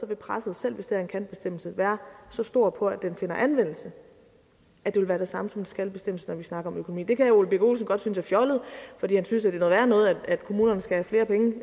vil presset selv hvis det er en kan bestemmelse være så stort på at den finder anvendelse at det vil være det samme som en skal bestemmelse når vi snakker om økonomi det kan herre ole birk olesen godt synes er fjollet fordi han synes at det er noget værre noget at kommunerne skal